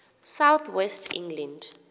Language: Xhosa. south west england